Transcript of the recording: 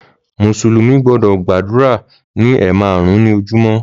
Mùsùlùmí gbọ́dọ̀ gbàdúrà ní ẹ̀ẹ̀marùn ní ojúmọ́